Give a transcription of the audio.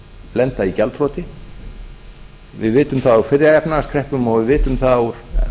lenda í gjaldþroti við vitum það úr fyrri efnahagskreppum og við við vitum það úr